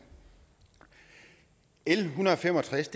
l en hundrede og fem og tres